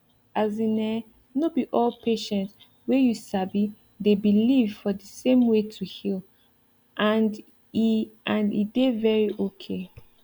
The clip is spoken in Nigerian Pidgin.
as in[um]no be all patient way you sabi dey believe for the same way to heal and e and e dey very okay